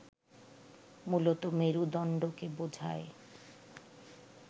মূলত মেরুদণ্ডকে বোঝায়